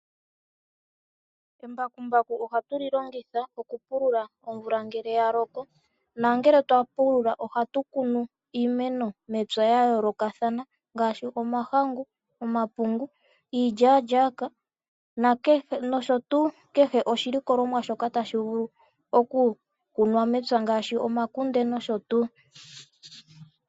Embakumbaku ohatu li longitha okupulula omvula ngele ya loko nongele twa pulula ohatu kunu iimeno ya yoolokathana ngaashi omahangu, omapungu, iilyaalyaaka nosho tuu oshilikolomwa shoka tashi vulu okukunwa mepya ngaashi omakunde nosho tuu.